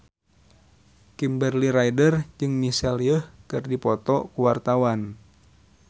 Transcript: Kimberly Ryder jeung Michelle Yeoh keur dipoto ku wartawan